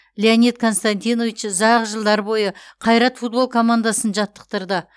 леонид константинович ұзақ жылдар бойы қайрат футбол командасын жаттықтырды